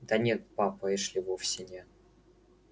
да нет папа эшли вовсе не